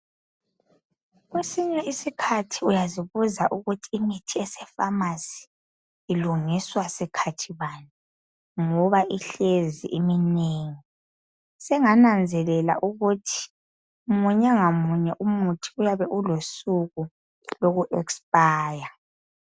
Kwesinye isikhathi uyazibuza ukuthi imithi esefamasi ilungiswa sikhathi bani ngoba ihlezi iminengi, sengananzelela ukuthi munye ngamunye umuthi uyabe ulosuku loku expire.